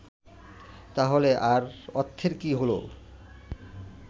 তাহলে আর অর্থের কী হল